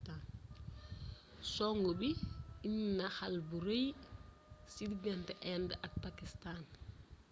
songu bi indi na xall bu rëy ci diggante indë ak pakistaan